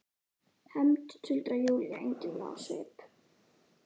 Hefnd, tuldrar Júlía einkennileg á svip.